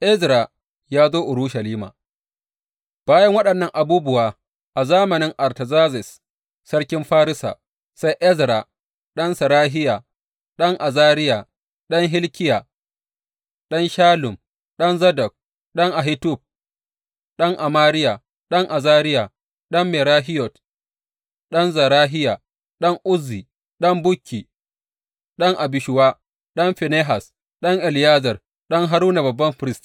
Ezra ya zo Urushalima Bayan waɗannan abubuwa, a zamanin Artazerzes sarkin Farisa, sai Ezra ɗan Serahiya, ɗan Azariya, ɗan Hilkiya, ɗan Shallum, ɗan Zadok, ɗan Ahitub, ɗan Amariya, ɗan Azariya, ɗan Merahiyot, ɗan Zerahiya, ɗan Uzzi, ɗan Bukki, ɗan Abishuwa, ɗan Finehas, ɗan Eleyazar, ɗan Haruna babban firist.